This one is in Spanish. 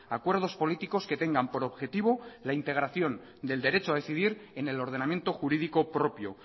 acuerdos políticos que tengan por objetivo la integración del derecho a decidir en el ordenamiento jurídico propio